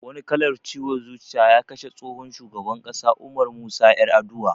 Wani kallar ciwon zuciya ya kashe tsohon shugaban ƙasa Umar Musa Yar'adua